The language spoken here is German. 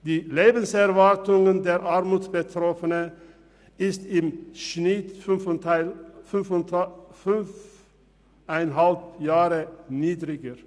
Die Lebenserwartung der Armutsbetroffenen ist im Schnitt fünfeinhalb Jahre niedriger.